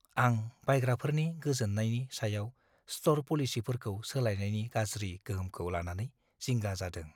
आं बायग्राफोरनि गोजोननायनि सायाव स्ट'र पलिसिफोरखौ सोलायनायनि गाज्रि गोहोमखौ लानानै जिंगा जादों।